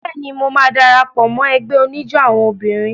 Bẹ́ẹ̀ni, mo máa dara pọ̀ mọ́ ẹgbẹ́ oníjó àwọn obìnrin.